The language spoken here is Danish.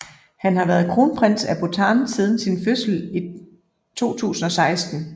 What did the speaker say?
Han har været kronprins af Bhutan siden sin fødsel i 2016